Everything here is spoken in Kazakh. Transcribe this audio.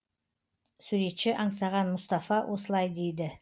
суретші аңсаған мұстафа осылай дейді